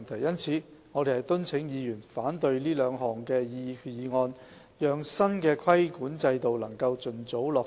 因此，我們敦請議員反對這兩項決議案，讓新的規管制度能盡早落實。